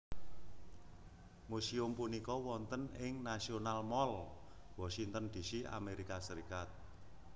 Museum punika wonten ing National Mall Washington D C Amerika Serikat